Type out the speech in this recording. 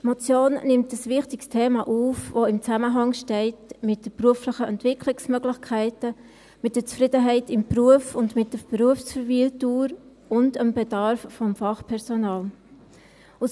Die Motion nimmt ein wichtiges Thema auf, welches im Zusammenhang mit den beruflichen Entwicklungsmöglichkeiten, mit der Zufriedenheit im Beruf und mit der Berufsverweildauer und dem Bedarf an Fachpersonal steht.